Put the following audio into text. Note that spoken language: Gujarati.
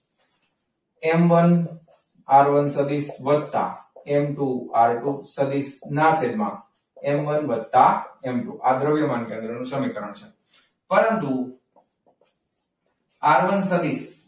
M one આરવાન સદીસ વત્તા એમ ટુ આર ટુ સદીશ એમ વન વત્તા એમ ટુ આ દ્રવ્યમાન કેન્દ્ર નું સમીકરણ છે. પરંતુ, આરવાન સદીસ.